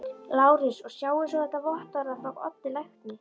LÁRUS: Og sjáið svo þetta vottorð frá Oddi lækni.